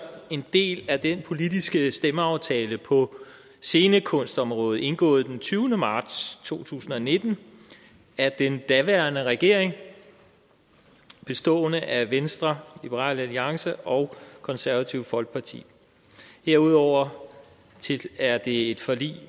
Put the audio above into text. en del af den politiske stemmeaftale på scenekunstområdet indgået den tyvende marts to tusind og nitten af den daværende regering bestående af venstre liberal alliance og konservative folkeparti herudover er det et forlig